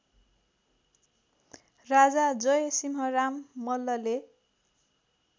राजा जयसिंहराम मल्लले